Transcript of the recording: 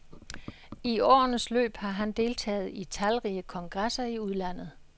I årenes løb har han deltaget i talrige kongresser i udlandet.